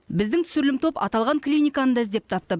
біздің түсірілім топ аталған клиниканы да іздеп тапты